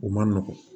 U man nɔgɔn